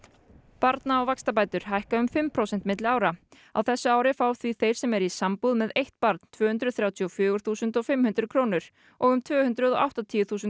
barna og vaxtabætur hækka um fimm prósent milli ára á þessu ári fá því þeir sem eru í sambúð með eitt barn tvö hundruð þrjátíu og fjögur þúsund fimm hundruð krónur og um tvö hundruð og áttatíu þúsund